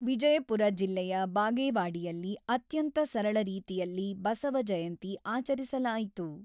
ವಿಜಯಪುರ ಜಿಲ್ಲೆಯ ಬಾಗೇವಾಡಿಯಲ್ಲಿ ಅತ್ಯಂತ ಸರಳ ರೀತಿಯಲ್ಲಿ ಬಸವ ಜಯಂತಿ ಆಚರಿಸಲಾಯಿತು.